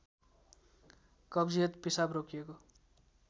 कब्जियत पिसाब रोकिएको